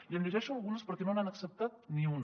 i en llegeixo algunes perquè no n’han acceptat ni una